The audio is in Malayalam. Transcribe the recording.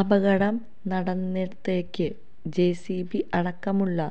അപകടം നട്നനിടത്തേക്ക് ജെസിബി അടക്കമുള്ള